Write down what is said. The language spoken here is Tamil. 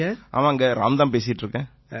ஆமாங்க ராம் தான் பேசிட்டு இருக்கேன்